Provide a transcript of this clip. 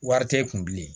Wari tɛ e kun bilen